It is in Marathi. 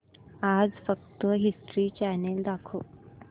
आज फक्त हिस्ट्री चॅनल दाखव